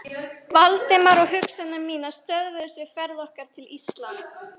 Valdimar, og hugsanir mínar stöðvuðust við ferð okkar til Íslands.